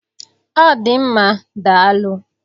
Ọ dị mma, daalụ.